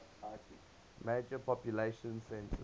major population centers